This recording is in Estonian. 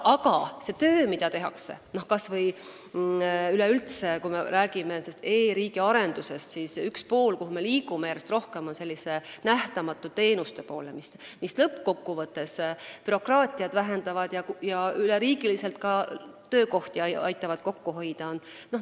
Aga see töö, mida tehakse, kas või üleüldse e-riigi arendusest rääkides, hõlmab selliseid nähtamatuid teenuseid, mis lõppkokkuvõttes vähendavad bürokraatiat ja aitavad ka üle riigi töökohti kokku hoida.